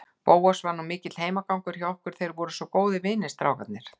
Bóas var nú mikill heimagangur hjá okkur, þeir voru svo góðir vinir, strákarnir.